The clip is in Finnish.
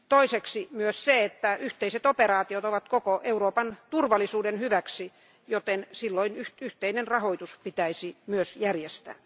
Toiseksi yhteiset operaatiot ovat koko Euroopan turvallisuuden hyväksi, joten silloin yhteinen rahoitus pitäisi myös järjestää.